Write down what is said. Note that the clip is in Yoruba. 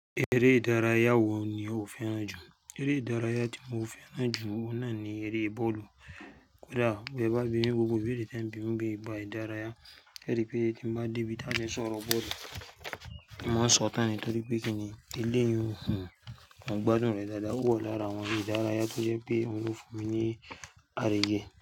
Eré ìdárayá wo ni o fẹ́ràn jù? Eré ìdárayá tí mo fẹ́ràn jù náà ni eré bọ́ọ̀lù. Kódà bí ẹ bá bí gbogbo bí èdè tí ń bí mi bí ba ìdárayá, kí ó rí pé tí bá dé ibi tí a bá ń sọ̀rọ̀ bọ́ọ̀lù, màá sọ̀tàn nítorí pé kíni eléyìí ò hun, wọ́n gbádùn rẹ̀ dáadáa o wa lára àwọn eré ìdárayá tó jẹ́ pé oun ló fún mi ní àríyé.